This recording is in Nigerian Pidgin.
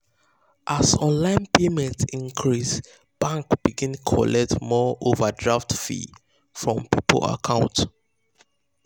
as online payment increase bank begin collect more overdraft fee from people account.